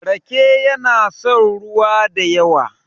rake yana son ruwa da yawa